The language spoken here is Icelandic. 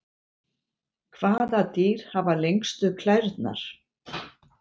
hvaða dýr hafa lengstu klærnar